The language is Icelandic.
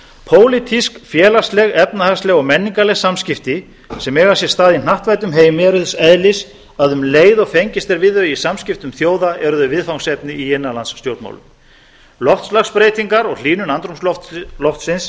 pólitísk félagsleg efnahagsleg og menningarleg samskipti sem eiga sér stað í hnattvæddum heimi eru þess eðlis að um leið og fengist er við þau í samskiptum þjóða eru þau viðfangsefni í innanlandsstjórnmálum loftslagsbreytingar og hlýnun andrúmsloftsins